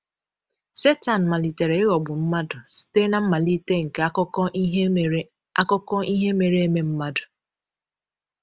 Setan malitere ịghọgbu mmadụ site na mmalite nke akụkọ ihe mere akụkọ ihe mere eme mmadụ.